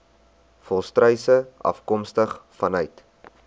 volstruise afkomstig vanuit